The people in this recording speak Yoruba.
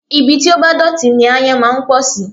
Ibi tí ó bá dọ̀tí ni aáyán máa ń pọ̀ sí